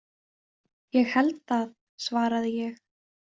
Ég held það, svaraði ég.